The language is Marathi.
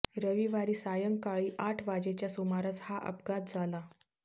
रविवारी सायंकाळी आठ वाजेच्या सुमारास हा अपघात झाला